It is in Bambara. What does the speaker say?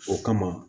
O kama